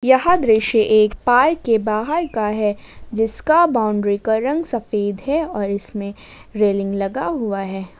यह दृश्य एक पार्क के बाहर का है जिसका बाउंड्री का रंग सफेद है और इसमें रेलिंग लगा हुआ है।